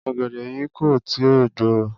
Ọ̀gẹ̀dẹ̀ yìí kò tí ì gbò ó.